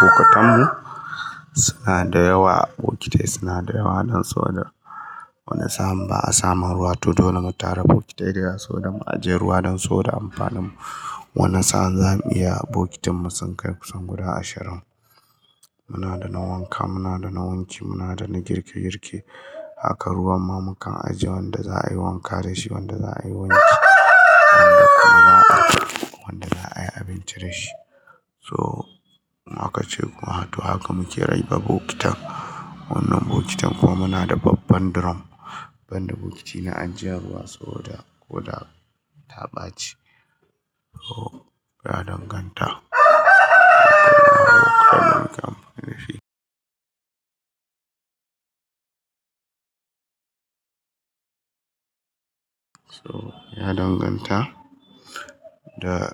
Bokitanmu suna da yawa, bokitai suna da yawa don sau da wani sa'a ba a samun ruwa ba. To dole mu tara bokitai dayawa sau da mu ajiye ruwa don sau da amfanin mu. Wani sa'a za mu iya bokitan mu sun kai kusan guda ashirin. Muna da na wanka, muna da na wanki, muna da na girke girke. Haka ruwan ma mukan ajiye wanda za'a yi wanka da shi, wanda za'a yi wanki, wanda kuma ba'a wanda za'a yi abinci da shi. So haka ce kuma, to haka muke raba bokitan. Wannan bokitan kuma muna da babban drum banda bokitai na anjiyan ruwa sau da ko da ta ɓaci. So ya danganta: Ya danganta da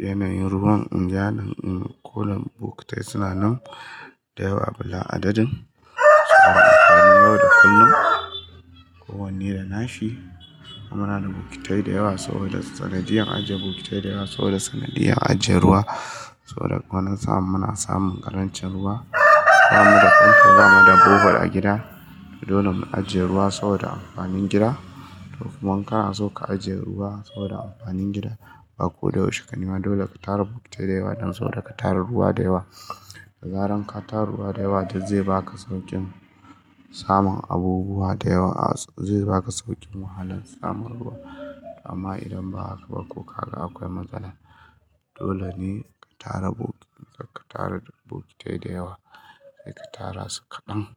yanayin ruwan in jiya, in ko da bokitai suna nan da yawa bila adadin. Suna amfani yau da kullum, kowanne da nashi. Amma muna da bokitai da yawa sau da sanadiyar ajiye bokitai da yawa sau da sanadiyar ajiye ruwa sau da wani sa'a muna samun ƙarancin ruwa. Ba mu da famfo, ba mu da bubur a gida. To dole mu ajiye ruwa sau da amfanin gida. To kuma in kana so ka ajiye ruwa sau da amfanin gida, ba ko da ushe ka nema dole ka tara bokitai da yawa don sau da ka tara ruwa da yawa. Da zaran ka tara ruwa da yawa, yanzu zai baka sauƙin samun abubuwa da yawa a-- zai baka sauƙin wahalan samun ruwa. Amma idan ba haka ba ko ka ga akwai matsala, dole ne ka tara bokit-- ka tara bokitai da yawa. Sai ka tara su kaɗan.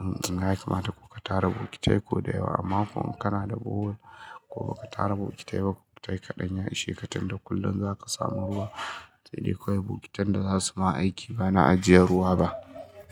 Um, zinai kamata ko ka tara bokitai ko da yawa amma ko kana da bohol ko ba ka tara bokitai ba, bokitai kaɗan ya ishe ka tunda kullum za ka samu ruwa. Sai dai kawai bokitai da za su ma aiki ba na ajiye ruwa ba.